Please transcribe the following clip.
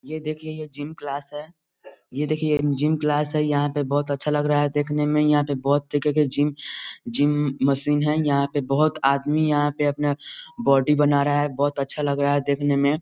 ये देखिए ये जिम क्लास है ये देखिए जिम क्लास है यहाँ पे बहुत अच्छा लग रहा है देखने में यहाँ पे बहुत तरीके के जिम जिम मशीन हैं यहाँ पे बहुत आदमी यहाँ पे अपना बॉडी बना रहा है बहुत अच्छा लग रहा है देखने में।